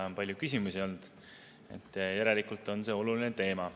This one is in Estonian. On palju küsimusi olnud, järelikult on see oluline teema.